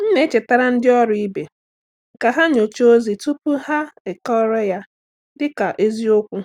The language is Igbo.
M na-echetara ndị ọrụ ibe ka ha nyochaa ozi tupu ha ekọrọ ya dị ka eziokwu.